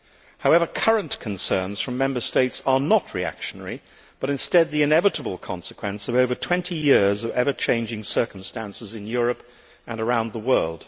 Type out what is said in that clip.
However, current concerns from Member States are not reactionary, but instead the inevitable consequence of over 20 years of ever changing circumstances in Europe and around the world.